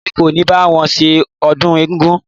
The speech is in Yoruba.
Èmi kò ní bá wọn ṣe ọdún egúngún.